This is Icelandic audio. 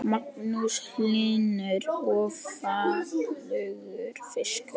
Magnús Hlynur: Og fallegur fiskur?